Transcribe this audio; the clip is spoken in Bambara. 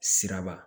Siraba